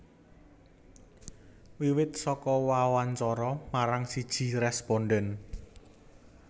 Wiwit saka wawancara marang siji rèspondhen